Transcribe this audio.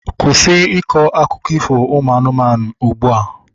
Kwụsị ịkọ akụkọ ifo ụmụ anụmanụ ugbua!